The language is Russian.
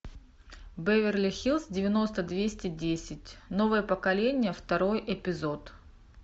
беверли хиллз девяносто двести десять новое поколение второй эпизод